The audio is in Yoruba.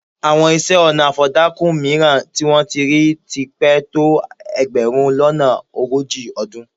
Àwọn isẹ́-ọnà afọ̀dàkùn mìíràn tí wọ́n ti rí ti pẹ́ tó ẹgbẹ̀rún lọ́nà ogójì ọdún.